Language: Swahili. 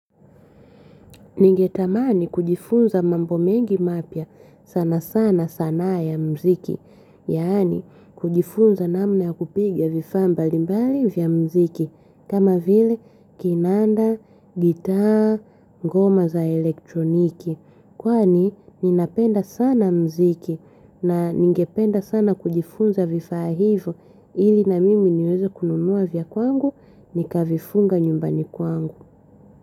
Ningetamani kujifunza mambo mengi mapya sana sana sanaa ya muziki, yaani kujifunza namna ya kupigia vifaa mbalimbali vya mziki, kama vile kinanda, gita, goma za elektroniki. Kwani ninapenda sana muziki na ningependa sana kujifunza vifaa hivyo ili na mimi niweze kununua vya kwangu ni kavifunga nyumbani kwangu.